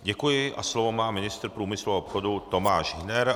Děkuji a slovo má ministr průmyslu a obchodu Tomáš Hüner.